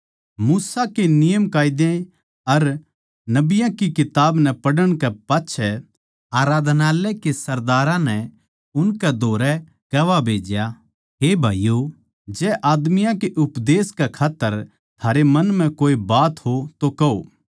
मूसा के नियमकायदे अर नबियाँ की किताब नै पढ़ण कै पाच्छै आराधनालय के सरदारां नै उनकै धोरै कुह्वा भेज्या हे भाईयो जै आदमियाँ के उपदेश कै खात्तर थारै मन म्ह कोए बात हो तो कहो